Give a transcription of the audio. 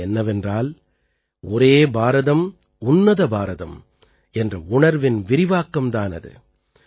அது என்னவென்றால் ஒரே பாரதம் உன்னத பாரதம் என்ற உணர்வின் விரிவாக்கம் தான் அது